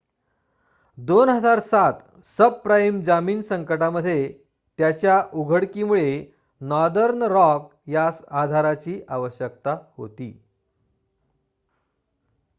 2007 subprime जामीन संकटामध्ये त्याच्या उघडीकीमुळे नॉर्दर्न रॉक यास आधाराची आवश्यकता होती